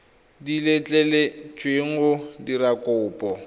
di letleletsweng go dira kopo